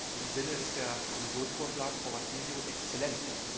In diesem Sinne ist der Kommissionsvorschlag, Frau Vassiliou exzellent.